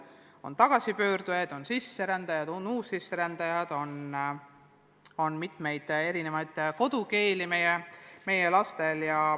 On tagasipöördujaid, on sisserändajaid, on uussisserändajad – seega on meil väga erinevate kodukeeltega lapsi.